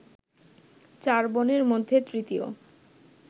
চার বোনের মধ্যে তৃতীয়